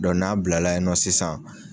n'a bilala yen nɔ sisan